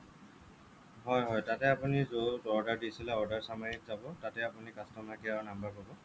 হয় হয় তাতে আপুনি য'ত order দিছিলে order summery ত যাব তাতে আপুনি customer care ৰ number পাব